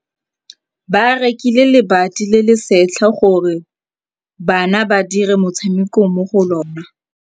Ba rekile lebati le le setlha gore bana ba dire motshameko mo go lona.